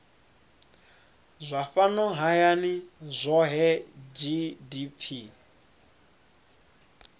zwa fhano hayani zwohe gdp